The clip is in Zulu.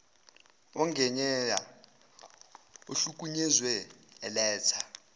ongeyena ohlukunyeziwe eletha